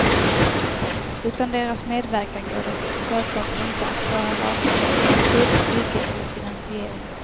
Utan deras medverkan går det självklart inte att klara vare sig beslut, bygge eller finansiering.